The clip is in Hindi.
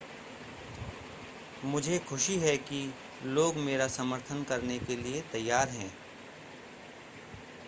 मुझे खुशी है कि लोग मेरा समर्थन करने के लिए तैयार हैं